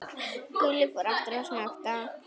Gulli fór aftur að snökta.